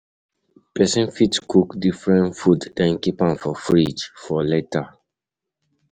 Person fit cook different food then keep am for fridge for later